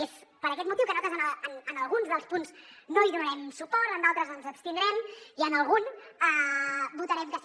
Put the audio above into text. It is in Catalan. i és per aquest motiu que nosaltres en algun dels punts no hi donarem suport en d’altres ens abstindrem i en algun votarem que sí